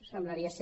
semblaria ser